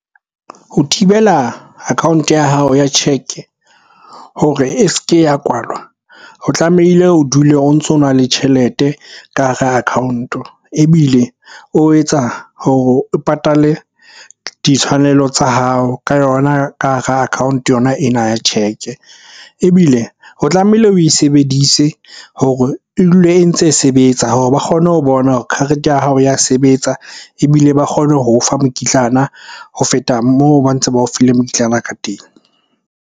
Ho thibela account-o ya hao ya cheque hore e se ke ya kwalwa, o tlamehile o dule o ntso na le tjhelete ka hara account-o. Ebile o etsa hore o patale ditshwanelo tsa hao ka yona, ka hara account-o yona ena ya cheque. Ebile o tlamehile oe sebedise hore e dule e ntse e sebetsa hore ba kgone ho bona hore karete ya hao ya sebetsa. Ebile ba kgone ho o fa mokitlana ho feta moo ba ntse ba o file mokitlana ka teng.